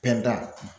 Pɛrɛnda